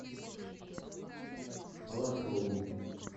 балашову